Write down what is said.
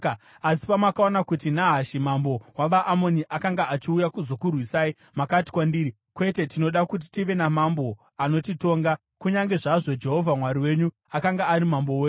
“Asi pamakaona kuti Nahashi mambo wavaAmoni akanga achiuya kuzokurwisai, makati kwandiri, ‘Kwete, tinoda kuti tive namambo anotitonga,’ kunyange zvazvo Jehovha Mwari wenyu akanga ari mambo wenyu.